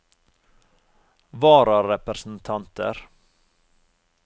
vararepresentanter